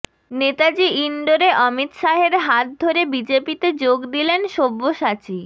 নেতাজি ইন্ডোরে অমিত শাহের হাত ধরে বিজেপিতে যোগ দিলেন সব্যসাচী